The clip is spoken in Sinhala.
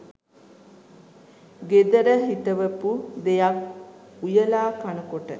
ගෙදර හිටවපු දෙයක් උයලා කනකොට